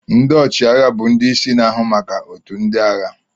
Ndị ọchịagha bụ ndị isi na-ahụ maka otu ndị agha.